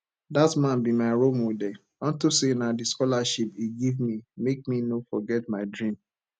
dat man be my role model unto say na the scholarship he give me make me no forget my dream